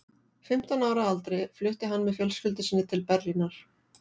Fimmtán ára að aldri flutti hann með fjölskyldu sinni til Berlínar.